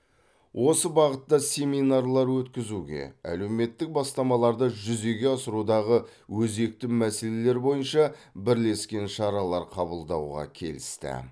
осы бағытта семинарлар өткізуге әлеуметтік бастамаларды жүзеге асырудағы өзекті мәселелер бойынша бірлескен шаралар қабылдауға келісті